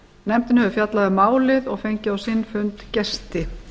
nefndin hefur fjallað um málið og fengið á sinn fund gesti